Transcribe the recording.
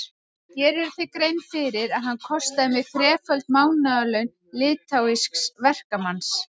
Gerirðu þér grein fyrir að hann kostaði mig þreföld mánaðarlaun litháísks verkamanns?